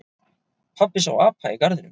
Pabbi sá apa í garðinum.